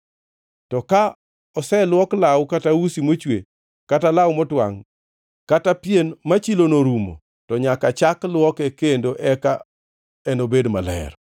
To ka oseluok law kata usi mochwe, kata law motwangʼ, kata pien ma chilono orumo, to nyaka chak lwoke kendo eka enobed maler.”